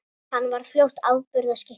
Hann varð fljótt afburða skytta.